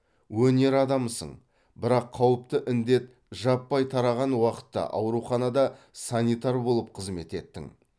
өнер адамысың бірақ қауіпті індет жаппай тараған уақытта ауруханада санитар болып қызмет еттің